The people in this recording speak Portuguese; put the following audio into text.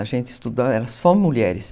A gente estudava, era só mulheres.